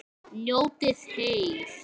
Njótið heil!